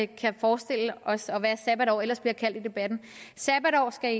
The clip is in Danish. kan forestille os og hvad et sabbatår ellers bliver kaldt i debatten sabbatår skal i